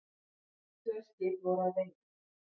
Tvö skip voru að veiðum.